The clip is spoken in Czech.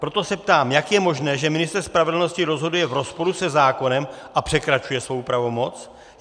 Proto se ptám, jak je možné, že ministr spravedlnosti rozhoduje v rozporu se zákonem a překračuje svou pravomoc.